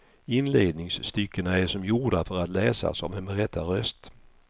Inledningsstyckena är som gjorda för att läsas av en berättarröst.